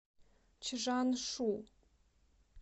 чжаншу